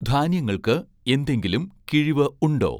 ധാന്യങ്ങൾക്ക് എന്തെങ്കിലും കിഴിവ് ഉണ്ടോ ?